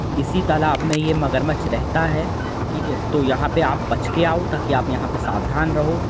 इसी तालाब में यह मगरमच्छ रहता है ठीक है तो यहां पर आप बच कर आओ ताकि आप यहां पर सावधान रहो।